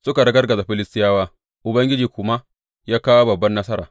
Suka ragargaza Filistiyawa, Ubangiji kuma ya kawo babban nasara.